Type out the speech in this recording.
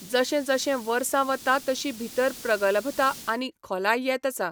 जशें जशें वर्सा वता तशी भितर प्रगलभता आनी खोलाय येत आसा.